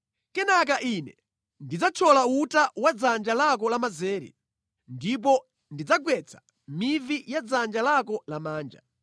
Kenaka Ine ndidzathyola uta wa mʼdzanja lako lamanzere ndipo ndidzagwetsa mivi ya mʼdzanja lako lamanja.